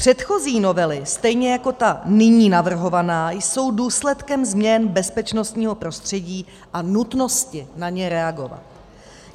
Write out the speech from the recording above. Předchozí novely, stejně jako ta nyní navrhovaná, jsou důsledkem změn bezpečnostního prostředí a nutnosti na ně reagovat.